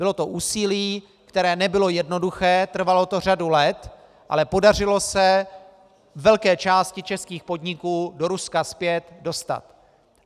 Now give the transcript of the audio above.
Bylo to úsilí, které nebylo jednoduché, trvalo to řadu let, ale podařilo se velké části českých podniků do Ruska zpět dostat.